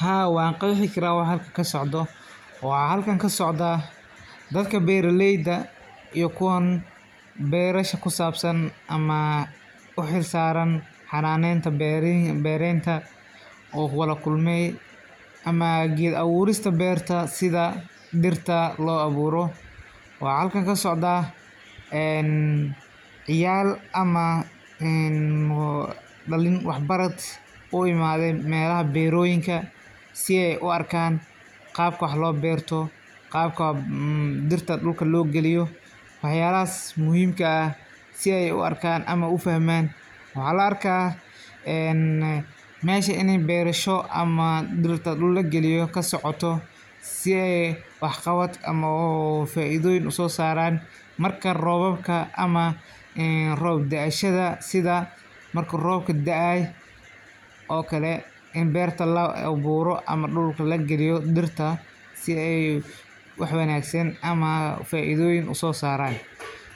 Haa wan qeexi kara waxa xalka kasocdo, waxa xalkan kasocd a dadka beraleyda iyo kuwan berasha kusabsan ama uxilsan xananenta bereynta, oo wada kulmay, ama geed awurista berta, sidha dirta loawuro, waxa xalkan kasocda een, ciyaal ama een daliin wax barat uimade melaxa beroyinka, sii ay u arkan, qaabka wax loberto, qaabka diirta dulka logaliyo, wax yalaxas muxiimka ah sii ay uarkan ama ufahman, waxa laarka een mesha ini berasho ama diirta dulka lagaliyo kasocoto, sii ay wax qabad ama oo faidoyin usosaran marka robabka ama roob daashada, sidha marku roobka daayo o kale in berta laawuro ama duul lagaliyo diirta, sii ay wax wanagsan ama faidoyin usosaran,